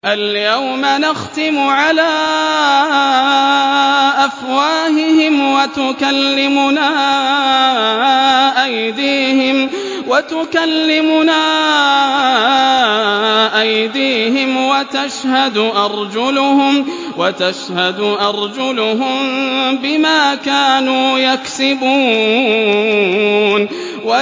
الْيَوْمَ نَخْتِمُ عَلَىٰ أَفْوَاهِهِمْ وَتُكَلِّمُنَا أَيْدِيهِمْ وَتَشْهَدُ أَرْجُلُهُم بِمَا كَانُوا يَكْسِبُونَ